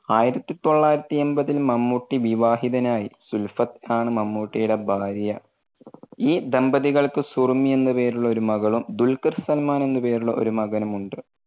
ആയിരത്തി തൊള്ളായിരത്തി എൺപതിൽ മമ്മൂട്ടി വിവാഹിതനായി. സുല്ഫത് ആണ് മമ്മൂട്ടിയുടെ ഭാര്യ. ഈ ദമ്പതികൾക്ക് സുറുമി എന്ന് പേരുള്ള ഒരു മകളും, ദുൽഖർ സൽമാൻ എന്ന് പേരുള്ള ഒരു മകനും ഉണ്ട്.